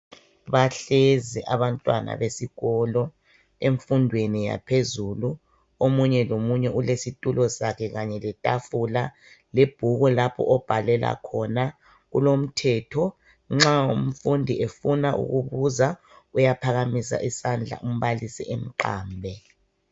Bahlezi abantwana besikolo emfundweni yaphezulu omunye lomunye ulesitulo sakhe kanye letafula lebhuku lapho obhalela khona kulomthetho nxa umfundi efuna ukubuza uyahakamisa isandla umbalisi emqambe.